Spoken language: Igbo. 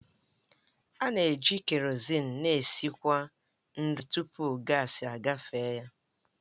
A na-eji kerozin na-esikwu nri tupu gaasi agafe ya.